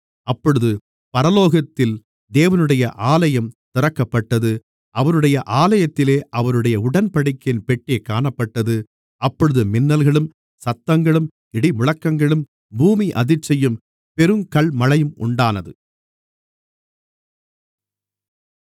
அப்பொழுது பரலோகத்தில் தேவனுடைய ஆலயம் திறக்கப்பட்டது அவருடைய ஆலயத்திலே அவருடைய உடன்படிக்கையின் பெட்டி காணப்பட்டது அப்பொழுது மின்னல்களும் சத்தங்களும் இடிமுழக்கங்களும் பூமி அதிர்ச்சியும் பெருங்கல்மழையும் உண்டானது